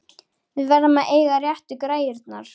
Við verðum að eiga réttu græjurnar!